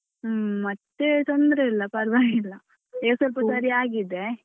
ಹ್ಮ್ ಮತ್ತೆ ತೊಂದ್ರೆ ಇಲ್ಲ ಪರ್ವಾಗಿಲ್ಲ ಈಗ ಸ್ವಲ್ಪ ಸರಿ ಆಗಿದೆ.